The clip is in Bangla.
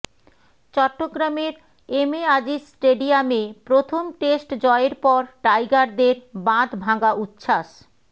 চট্টগ্রামের এম এ আজিজ স্টেডিয়ামে প্রথম টেস্ট জয়ের পর টাইগারদের বাধভাঙ্গা উচ্ছ্বাস